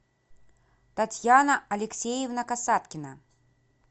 татьяна алексеевна касаткина